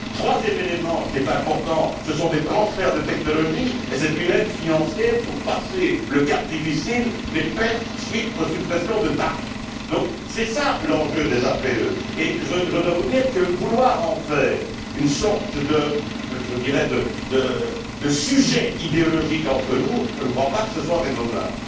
Troisième élément, qui est important, ce sont les transferts de technologie, et c'est une aide financière pour passer le cap difficile des pertes subies à la suite des suppressions de tarifs. Donc c'est cela l'enjeu des APE. Je dois vous dire que vouloir en faire une sorte, je dirais, de sujet idéologique entre nous, je ne crois pas que ce soit raisonnable.